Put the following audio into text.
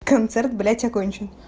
концерт блять окончен